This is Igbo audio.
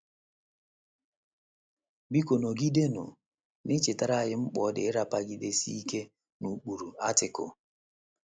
Biko nọgidenụ na - echetara anyị mkpa ọ dị ịrapagidesi ike n’ụkpụrụ Article.. ”